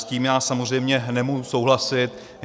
S tím já samozřejmě nemůžu souhlasit.